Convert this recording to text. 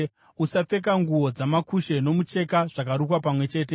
Usapfeka nguo dzamakushe nomucheka zvakarukwa pamwe chete.